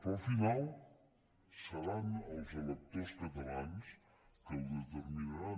però al final seran els electors catalans que ho determinaran